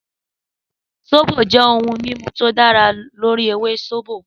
Sóbò jẹ́ ohun mímu tí ó dá lórí ewé sóbò.